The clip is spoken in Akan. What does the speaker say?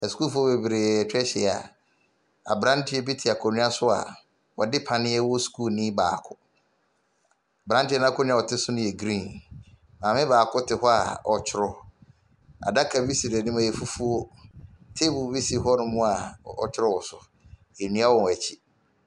Asukuufoɔ bebree atwa ahyia aberanteɛ bi te akonwa so a ɔde paneɛ wɔ skuu nii baako. Aberanteɛ akonwa a ɔte so ne yɛ grin, maame baako te hɔ a ɔɔtwerɔ. Adaka bi si n'anim ɛyɛ fufuo, teebol bi si hɔnom a ɔɔtwerɔ wɔ so. Nnua wɔ wɔn akyi.